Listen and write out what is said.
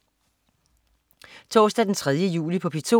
Torsdag den 3. juli - P2: